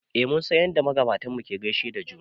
eh mun san yadda magabatanmu ke gaishe da juna